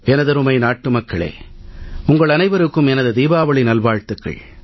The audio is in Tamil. எனதருமை நாட்டுமக்களே உங்கள் அனைவருக்கும் எனது தீபாவளி நல்வாழ்த்துக்கள்